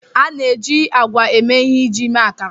A na-eji ágwà eme ihe iji mee akara.